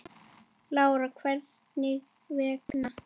Lára: Hvers vegna?